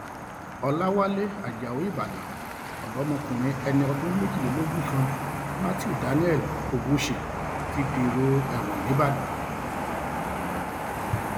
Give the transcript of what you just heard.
ọlàwálẹ ajáò ìbàdàn ọmọdékùnrin ẹni ọdún méjìlélógún kan matthew daniel ogwuche ti dèrò ẹwọn nìbàdàn